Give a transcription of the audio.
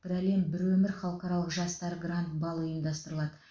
бір әлем бір өмір халықаралық жастар гранд балы ұйымдастырылады